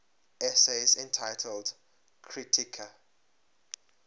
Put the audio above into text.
essays entitled kritika